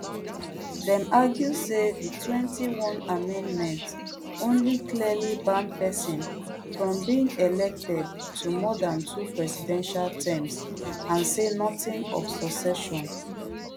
dem argue say di twenty-twond amendment only clearly ban pesin from being elected to more dan two presidential terms and say nothing of succession